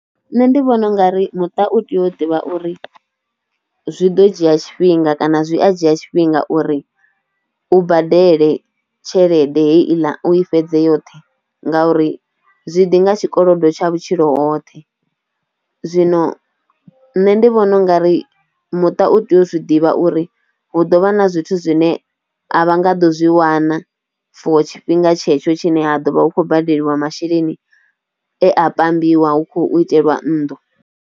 Nṋe ndi vhona ungari muṱa u tea u ḓivha uri zwi ḓo dzhia tshifhinga kana zwi a dzhia tshifhinga uri u badele tshelede heiḽa u i fhedze yoṱhe ngauri zwi ḓi nga tshikolodo tsha vhutshilo hoṱhe, zwino nṋe ndi vhona ungari muṱa u tea u zwi ḓivha uri hu ḓo vha na zwithu zwine a vha nga ḓo zwi wana for tshifhinga tshetsho tshine ha ḓo vha hu khou badeliwa masheleni e a pambiwa hu khou iteliwa nnḓu.